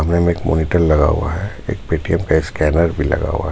कमरे में एक मॉनिटर लगा हुआ है एक पेटीएम का स्कैनर भी लगा हुआ है.